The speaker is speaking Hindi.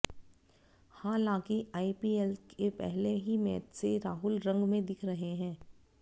हालांकि आईपीएल के पहले ही मैच से राहुल रंग में दिख रहे हैं